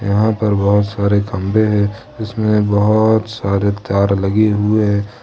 यहां पर बहुत सारे खंभे हैं जिसमें बहुत सारे तार लगे हुए है।